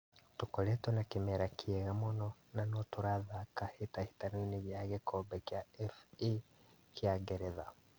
Tũkoretwo na kĩmera kĩega mũno na notũrathaka hĩtahĩtano ya gĩkombe kĩa FA kĩa ngeretha.